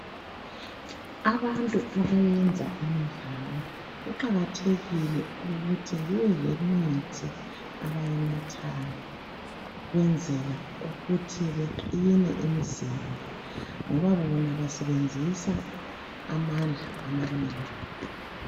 Abantu abenza imidlalo kuqakathekile ukuthi bebelemithi abayinathayo ukwenzela ukuthi beqine emzimbeni ngoba bona basebenzisa amandla amanengi